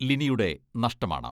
ലിനിയുടെ നഷ്ടമാണ്.